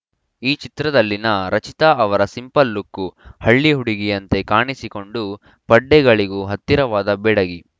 ಈ ಚಿತ್ರದಲ್ಲಿನ ರಚಿತಾ ಅವರ ಸಿಂಪಲ್‌ ಲುಕ್ಕು ಹಳ್ಳಿ ಹುಡುಗಿಯಂತೆ ಕಾಣಿಸಿಕೊಂಡು ಪಡ್ಡೆಗಳಿಗೂ ಹತ್ತಿರವಾದ ಬೆಡಗಿ